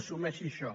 assu·meixi això